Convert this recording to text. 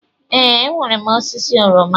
Ee, enwere m osisi oroma.